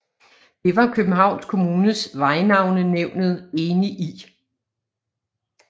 Det var Københavns Kommunes Vejnavnenævnet enig i